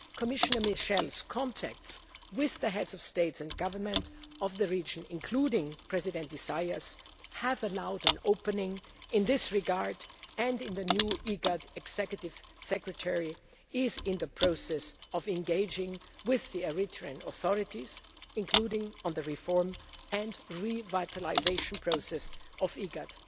strategy. Commissioner Michel's contacts with the heads of state and government of the region, including President Isaias, have allowed an opening in this regard and the new IGAD Executive Secretary is in the process of engaging with the Eritrean authorities, including on the reform and revitalisation process